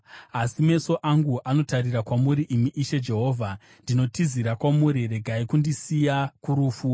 Asi meso angu anotarira kwamuri, imi Ishe Jehovha; ndinotizira kwamuri, regai kundiisa kurufu.